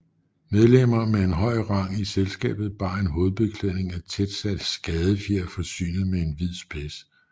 Medlemmer med en høj rang i selskabet bar en hovedbeklædning af tætsatte skadefjer forsynet med en hvid spids